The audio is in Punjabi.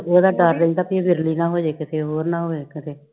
ਉਦਾ ਡਰ ਰਹਿੰਦਾ ਕਿ ਕੀਤੇ ਵਿਰਲੀ ਨਾ ਹੋਜੇ ਕੀਤੇ, ਹੋਰ ਨਾ ਹੋਜੇ ਕੀਤੇ